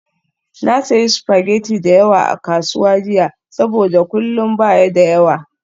Na sayi spaghetti da yawa a kasuwa jiya saboda kullun ba ya da yawa.